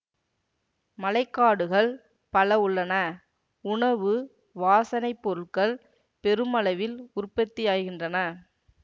மழை காடுகள் பல உள்ளன உணவு வாசனை பொருட்கள் பெருமளவில் உற்பத்தியாகின்றன